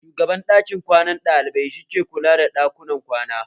Shugaban ɗakin kwanan ɗalibai shi ke kula da ɗakunan kwana